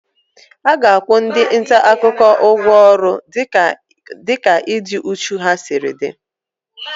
A ga-akwụ ndị nta akụkọ ụgwọ ọrụ dịka ịdị úchú ha siri dị)